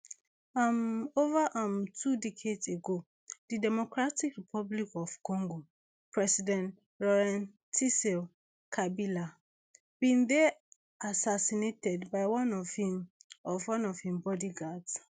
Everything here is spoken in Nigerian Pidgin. um ova um two decades ago di democratic republic of congo president lauren kabila bin dey assassinated by one of im of one im bodyguards